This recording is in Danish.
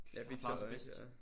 Ja Victor og Rikke ja